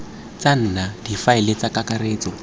tsa nna difaele tsa kakaretso